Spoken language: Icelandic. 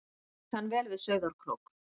Ég kann vel við Sauðárkrók.